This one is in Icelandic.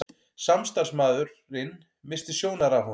Samstarfsmaðurinn missti sjónar af honum.